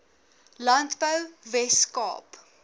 landbou wes kaap